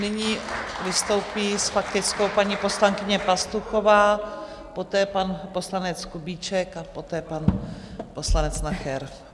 Nyní vystoupí s faktickou paní poslankyně Pastuchová, poté pan poslanec Kubíček a poté pan poslanec Nacher.